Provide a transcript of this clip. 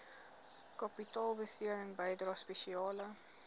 kapitaalbesteding bydrae spesiale